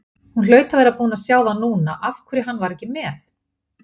Hún hlaut að vera búin að sjá það núna af hverju hann var ekki með.